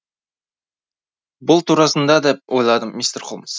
бұл турасында да ойландым мистер холмс